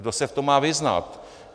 Kdo se v tom má vyznat?